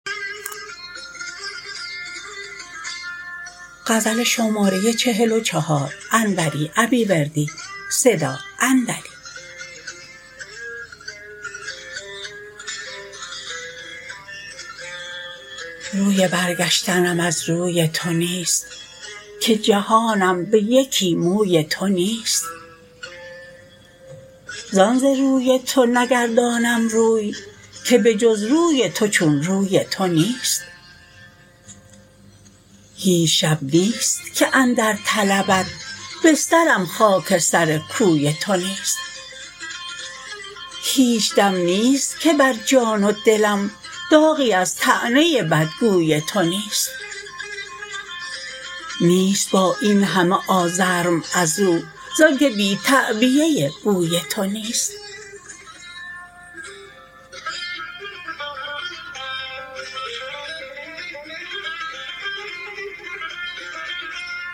روی برگشتنم از روی تو نیست که جهانم به یکی موی تو نیست زان ز روی تو نگردانم روی که به جز روی تو چون روی تو نیست هیچ شب نیست که اندر طلبت بسترم خاک سر کوی تو نیست هیچ دم نیست که بر جان و دلم داغی از طعنه بدگوی تو نیست نیست با این همه آزرم ازو زانکه بی تعبیه بوی تو نیست